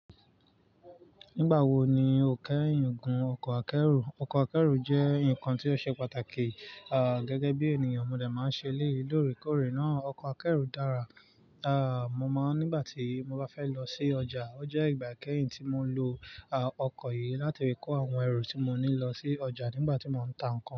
Nígbà wo ni o kẹ́yìn gun ọkọ̀ akẹ́rù? Ọkọ̀ akẹ́rù jẹ́ nǹkan tí ó ṣe pàtàkì, à, gẹ́gẹ́ bí ènìyàn mo dà máa ń ṣe élèyi lóòrèkóòrè náà. Ọkọ̀ akẹ́rù dára, à, mo máa nígbà tí mo bá fẹ́ lọ sí ọjà. Ó jẹ́ ìgbà kẹ́yìn tí mo lo, à, ọkọ̀ yìí láti rí kó àwọn ẹrù tí mo ní lọ sí ọjà nígbà tí mò ń tà nkan.